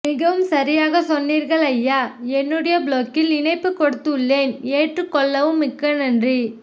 மிகவும் சரியாக சொன்னீர்கள் அய்யா என்னுடைய ப்லொக்கில் இணைப்பு கொடுத்து உள்ளேன் ஏற்று கொள்ளவும் மிக்க நன்றி